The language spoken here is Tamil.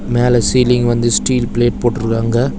மேல சீலிங் வந்து ஸ்டீல் பிளேட் போட்ருக்காங்க.